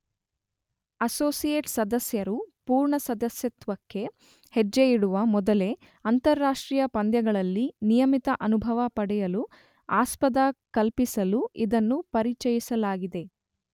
Associate ಸದಸ್ಯರು ಪೂರ್ಣ ಸದಸ್ಯತ್ವಕ್ಕೆ ಹೆಜ್ಜೆಯಿಡುವ ಮೊದಲೇ ಅಂತಾರಾಷ್ಟ್ರೀಯ ಪಂದ್ಯಗಳಲ್ಲಿ ನಿಯಮಿತ ಅನುಭವ ಪಡೆಯಲು ಆಸ್ಪದ ಕಲ್ಪಿಸಲು ಇದನ್ನು ಪರಿಚಯಿಸಲಾಗಿದೆ.